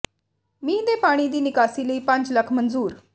ਮੀਂਹ ਦੇ ਪਾਣੀ ਦੀ ਨਿਕਾਸੀ ਲਈ ਪੰਜ ਲੱਖ ਮਨਜ਼ੂਰ